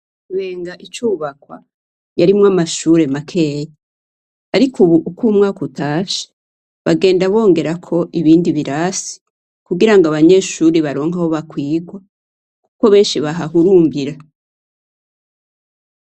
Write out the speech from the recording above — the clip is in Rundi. Kibenga icubakwa, yarimwo amashure makeyi. Ariko ubu uko umwaka utashe, bagenda bongerako ibindi birasi, kugira ngo abanyeshure baronke aho bakwirwa, kuko benshi bahahurungira.